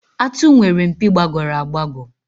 Àtụ̀ nwere mpi gbagọrọ agbagọ.